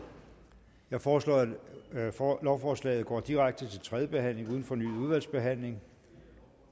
jeg foreslår at lovforslaget går direkte til tredje behandling uden fornyet udvalgsbehandling